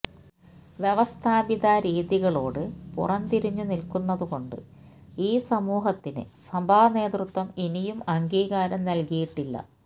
വ്യവസ്ഥാപിത രീതികളോട് പുറന്തിരിഞ്ഞു നിൽക്കുന്നതുകൊണ്ട് ഈ സമൂഹത്തിന് സഭാ നേതൃത്വം ഇനിയും അംഗീകാരം നൽകിയിട്ടില്ല